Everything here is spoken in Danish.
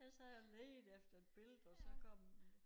Ellers så havde jeg jo ledt efter ef billede og så kom